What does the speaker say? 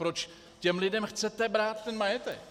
Proč těm lidem chcete brát ten majetek?